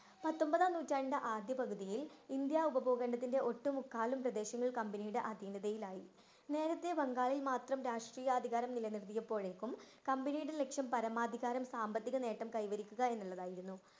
പത്തൊമ്പതാം നൂറ്റാണ്ട് ആദ്യ പകുതിയിൽ ഇന്ത്യ ഉപബോധനത്തിന്റെ ഒട്ടു മുക്കാലും പ്രദേശങ്ങളിൽ കമ്പനിയുടെ അതീനതയിലായി. നേരെത്തെ ബംഗാളിൽ മാത്രം രാഷ്ട്രീയ അധികാരം നിലനിർത്തിയപ്പോഴേക്കും കമ്പനിയുടെ ലക്ഷ്യം പരമാധികാരം സാമ്പത്തിക നേട്ടം കൈവരിക്കുക എന്നുള്ളതായിരുന്നു.